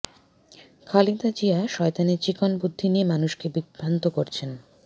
খালেদা জিয়া শয়তানের চিকন বুদ্ধি নিয়ে মানুষকে বিভ্রান্ত করেছেন